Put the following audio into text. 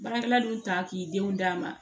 Baarakɛla dun ta k'i denw d'a ma